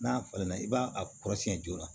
N'a falenna i b'a a kɔrɔsiyɛn joona